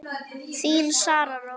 Þín, Sara Rós.